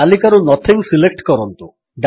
ତାଲିକାରୁ nothing select କରନ୍ତୁ